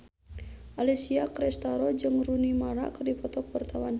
Alessia Cestaro jeung Rooney Mara keur dipoto ku wartawan